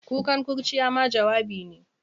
Kukan kurciya ma jawabi ne.